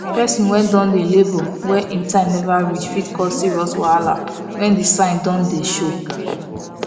persin wey don dey labor wey him time never reach fit cause serious wahala when the sign don dey show